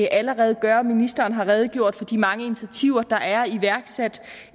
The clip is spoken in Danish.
allerede gør og ministeren har redegjort for de mange initiativer der er iværksat